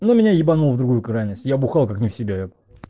ну меня ебануло в другую крайность я бухал как не в себе я